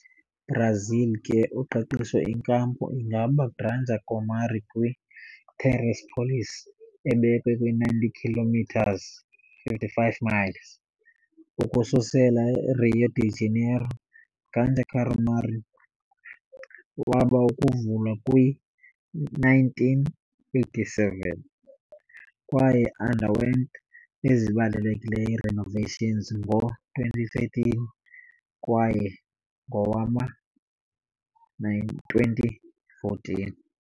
Brazil ke uqeqesho inkampu ingaba Granja Comary kwi - Teresópolis, ebekwe kwi-90 kilometres, 55 miles, ukususela Rio de Janeiro. Granja Comary waba kuvulwa kwi-1987, kwaye underwent ezibalulekileyo renovations ngo-2013, kwaye ngowama-2014.